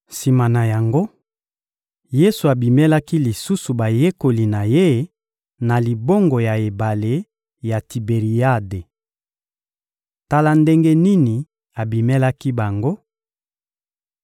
Sima na yango, Yesu abimelaki lisusu bayekoli na Ye na libongo ya ebale ya Tiberiade. Tala ndenge nini abimelaki bango: